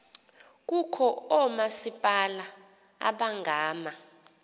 kukho oomasipala abangama